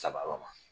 Saba ma